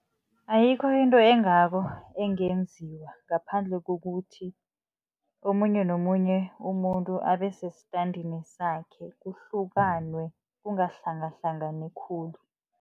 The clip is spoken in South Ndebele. Ayikho into engako engenziwa, ngaphandle kokuthi omunye nomunye umuntu abe sesitandeni sakhe, kuhlukanwe kungahlangahlangani khulu.